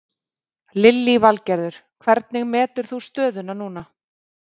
Lillý Valgerður: Hvernig metur þú stöðuna núna?